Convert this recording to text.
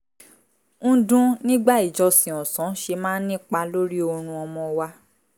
ń dún nígbà ìjọsìn ọ̀sán ṣe máa ń nípa lórí oorun ọmọ wa